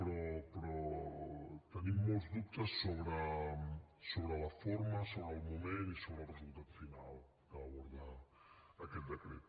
però tenim molts dubtes sobre la forma sobre el moment i sobre el resultat final que aborda aquest decret